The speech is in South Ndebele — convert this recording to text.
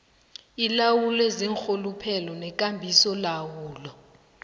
ilawulwe ziinrhuluphelo nekambisolawulo